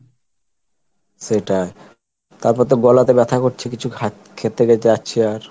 সেটাই তারপর তো গলাতে ব্যথা করছে, কিছু খা~ খেতে আর